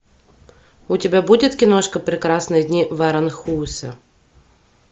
у тебя будет киношка прекрасные дни в аранхуэсе